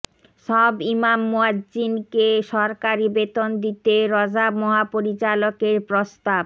সব ইমাম মুয়াজ্জিনকে সরকারি বেতন দিতে র্যাব মহাপরিচালকের প্রস্তাব